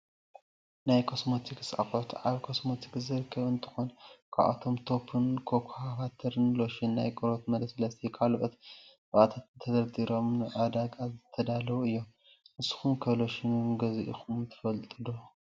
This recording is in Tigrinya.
ናይ ኮስሜቲክስ ኣቁሑት ኣብ ኮስሜቲክስ ዝርከቡ እንትኮኑ፣ ካብኣቶም ቶፕን ኮካፓተር ሎሽን ናይ ቆርበት መለስለሲ ካልኦት ቅብኣታት ተደርዲሮም ንዓዳጋይ ዝተዳለዉ እዮም። ንስኩም ከ ሎሽን ገዚኢኩም ዶ ትፈልጡ?